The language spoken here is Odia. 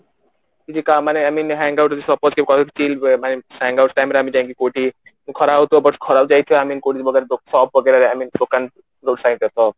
କିଛିକା ମାନେ I mean hangout ଯଦି suppose କେବେ skill hangout time ରେ ଯାଇଙ୍କି କୋଉଠି ଖରା ହଉଥିବ but ଖରା କୁ ଯାଇଥିବୁ ଦୋକାନ road side ରେ ତ